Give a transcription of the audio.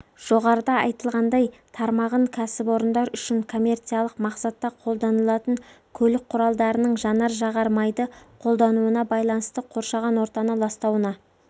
жоғарыда айтылғандай тармағын кәсіпорындар үшін коммерциялық мақсатта қолданылатын көлік құралдарының жанар жағар майды қолдануына байланысты қоршаған ортаны ластауына